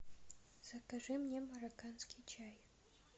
закажи мне марокканский чай